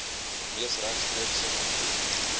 mees regstreekse invloed